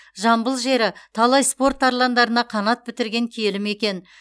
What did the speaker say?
жамбыл жері талай спорт тарландарына қанат бітірген киелі мекен